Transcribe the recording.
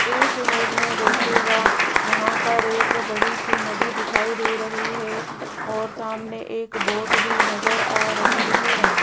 इस इमेज में देखिएगा यहां पर एक बड़ी सी नदी दिखाई दे रही है और सामने एक बोट भी नजर आ रही है।